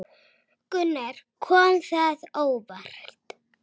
Gunnar: Kom þetta á óvart?